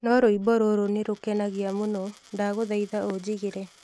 No rwĩmbo rũrũ nĩ rũkenagia mũno. Ndagũthaitha, ũjigĩre.